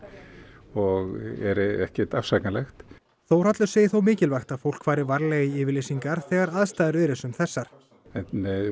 og er ekkert afsakanlegt Þórhallur segir þó mikilvægt að fólk fari varlega í yfirlýsingar þegar aðstæður eru sem þessar en